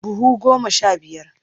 Buhu goma sha biyar.